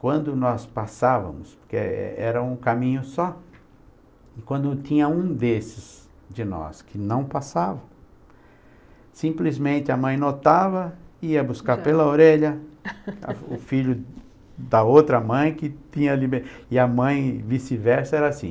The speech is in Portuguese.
quando nós passávamos, porque é era um caminho só, quando tinha um desses de nós que não passava, simplesmente a mãe notava, ia buscar pela orelha, o filho da outra mãe que tinha liberdade, e a mãe vice-versa era assim.